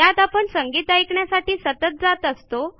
त्यात आपण संगीत ऐकण्यासाठी सतत जात असतो